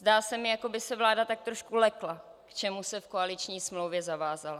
Zdá se mi, jako by se vláda tak trošku lekla, k čemu se v koaliční smlouvě zavázala.